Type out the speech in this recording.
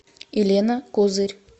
елена козырь